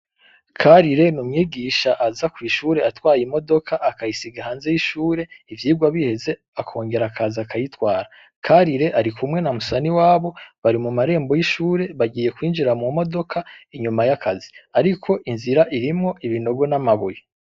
Karire n'umwigisha aza kw'ishure atwaye imodoka akayisiga hanze y'ishure ivyigwa biheze akongera akaza akayitwara. Karire arikumwe na Musaniwabo bari mu marembo y'ishure bagiye kwinjira mu modoka inyuma y'akazi, ariko inzira irimwo ibinogo n'amabuye.